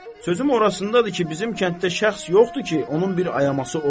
Sözüm orasındadır ki, bizim kənddə şəxs yoxdur ki, onun bir ayası olsun.